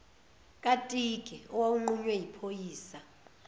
katiki owawunqunywe yiphoyisa